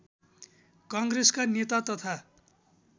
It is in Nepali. काङ्ग्रेसका नेता तथा